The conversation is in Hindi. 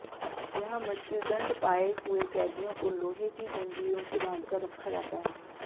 यहां मृत्युदंड पाए हुए कैदियों को लोहे की जंजीरों से बांधकर रखा जाता है